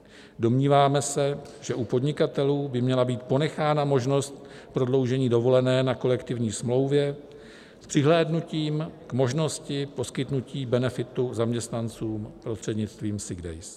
Domníváme se, že u podnikatelů by měla být ponechána možnost prodloužení dovolené na kolektivní smlouvě s přihlédnutím k možnosti poskytnutí benefitu zaměstnancům prostřednictvím sick days.